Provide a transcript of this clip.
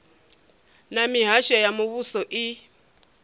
na mihasho ya muvhuso i